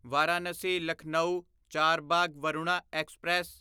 Varanasi Lucknow Charbagh Varuna express